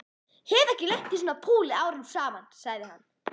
Hef ekki lent í svona púli árum saman sagði hann.